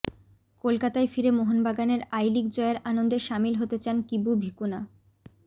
কলকাতায় ফিরে মোহনবাগানের আই লিগ জয়ের আনন্দে সামিল হতে চান কিবু ভিকুনা